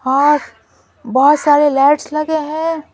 और बहुत सारे लाइट्स लगे हैं।